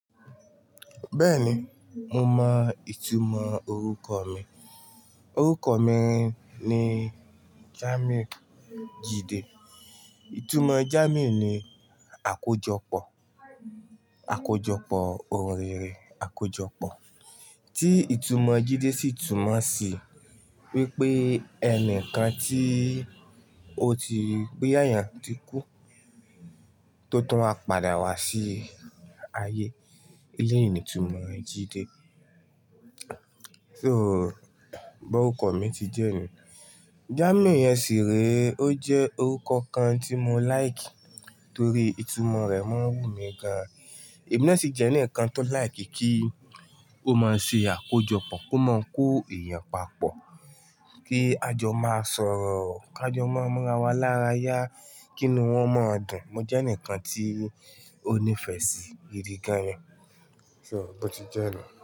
Bẹ́ẹ̀ni, mo mọ ìtumọ̀ orúkọ mi. Orúkọ mi ni Jàmíù Jídé. Ìtumọ̀ Jàmíù ni àkójọpọ̀, àkójọpọ̀, ohun rere, àkójọpọ̀. Tí ìtumọ̀ Jídé sì túmọ̀ sí wípé ẹni kan tí ó ti bóyá èyán tí kú tó tún á padà wá sí ayé. Eleyii ní ìtumọ̀ Jídé. So bó orúkọ mi ti jẹ́ ni. Jàmíù yẹn sì rí i ó jẹ́ orúkọ kan tí mo like torí ìtumọ̀ rẹ̀ máa ń wù mí gan-an. Èmi náà sì jẹ́ ẹnìkan tó like kí ó máa ṣe àkójọpọ̀, kó máa ń kó èèyàn papọ̀, kí a jọ máa sọ̀rọ̀, kí a jọ máa mọra wa lára yá, kí ni wọ́n máa dùn. Mo jẹ́ ẹnìkan tí ó nífẹ̀ẹ́ sí gìdí gan-an. So bó ti jẹ́ ni.